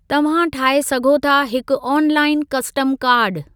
तव्हां ठाहे सघो था हिकु आनलाइअन कस्टम कार्ड।